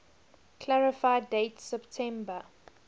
clarify date september